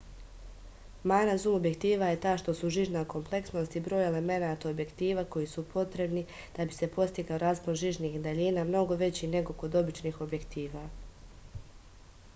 mana zum objektiva je ta što su žižna kompleksnost i broj elemenata objektiva koji su potrebni da bi se postigao raspon žižnih daljina mnogo veći nego kod običnih objektiva